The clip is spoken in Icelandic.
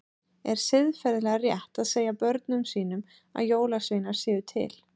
Er siðferðilega rétt að segja börnum sínum að jólasveinar séu til?